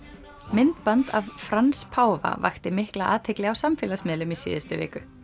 myndband af Frans páfa vakti mikla athygli á samfélagsmiðlum í síðustu viku